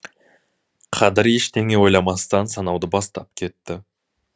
қадір ештеңе ойламастан санауды бастап кетті